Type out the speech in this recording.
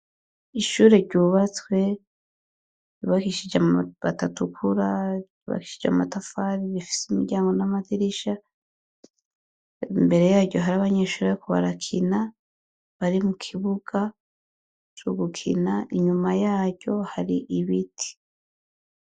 Ishure ryubatswe ribakishije batatukura ribakishije amatafari bifise imiryango n'amatirisha imbere yaryo hari abanyeshura yo kubarakina bari mu kibuga c'ugukina inyuma yaryo hari ibiti.